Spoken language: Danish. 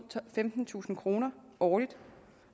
femtentusind kroner årligt